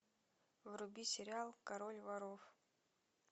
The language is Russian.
вруби сериал король воров